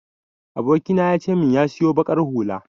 Abokina ya ce min ya siyo baƙar hula.